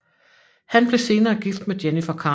Han blev senere gift med Jennifer Carno